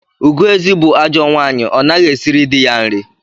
Ugoezi bụ ajọ nwaanyị, ọ naghị esiri dị ya nri.